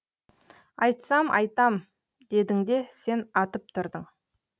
айтсам айтам дедің де сен атып тұрдың